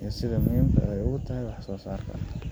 iyo sida ay muhiim ugu tahay wax soosaarka. Sawirka.